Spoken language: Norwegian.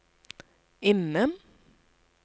innen